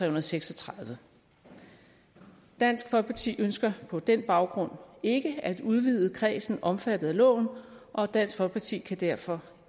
og seks og tredive dansk folkeparti ønsker på den baggrund ikke at udvide kredsen omfattet af loven og dansk folkeparti kan derfor